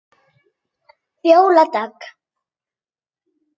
Fjóla Dögg.